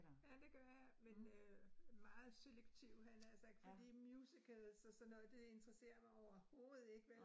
Ja, det gør jeg, men øh meget selektivt havde jeg nær sagt fordi musicals og sådan noget, det interesserer mig overhovedet ikke vel